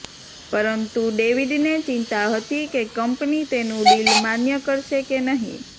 પરંતુ ડેવિડને ચિંતા હતી કે કંપની તેનું ડીલ માન્ય કરશે કે નહીં